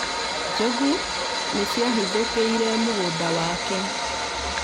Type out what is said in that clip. Njogu nĩ ciahithukĩire mũgũnda wake